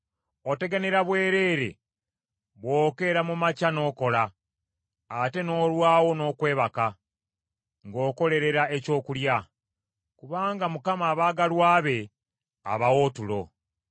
Oteganira bwereere bw’okeera mu makya n’okola, ate n’olwawo n’okwebaka ng’okolerera ekyokulya; kubanga Mukama abaagalwa be abawa otulo.